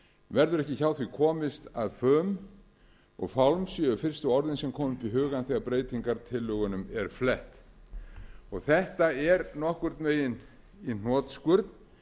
verður ekki hjá því komist að fum og fálm séu fyrstu orðin sem koma í hugann þegar breytingartillögunum er flett þetta eru nokkurn veginn í hnotskurn